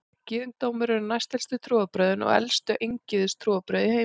Gyðingdómur eru næstelstu trúarbrögðin og elstu eingyðistrúarbrögð í heimi.